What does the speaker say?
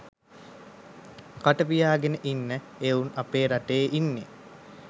කටපියාගෙන ඉන්න එවුන් අපේ රටේ ඉන්නේ.